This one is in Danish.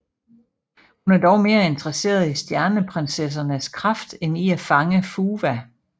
Hun er dog mere interesseret i Stjerneprinsessernes kraft end i at fange Fuwa